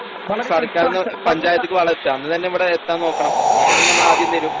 സർക്കാരിന്ന് പഞ്ചായത്തിക്ക് വളമെത്തും അന്ന് തന്നെ ഇവടെത്താൻ നോക്കണം അങ്ങനാണെങ്കി ഞങ്ങളാദ്യം തരും.